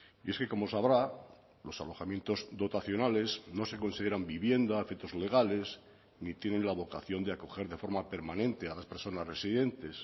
y es que como sabrá los alojamientos dotacionales no se consideran vivienda a efectos legales ni tienen la vocación de acoger de forma permanente a las personas residentes